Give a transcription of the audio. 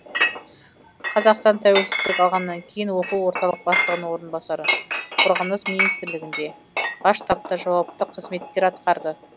қазақстан тәуелсіздік алғаннан кейін оқу орталық бастығының орынбасары қорғаныс министрлігінде бас штабта жауапты қызметтер аткарды